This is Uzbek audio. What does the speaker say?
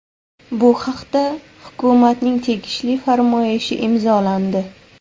Bu haqda hukumatning tegishli farmoyishi imzolandi.